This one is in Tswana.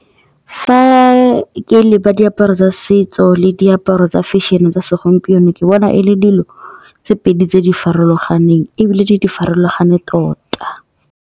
Fa ke leba diaparo tsa setso le diaparo tsa fešene tsa segompieno ke bona e le dilo tse pedi tse di farologaneng ebile di farologane tota.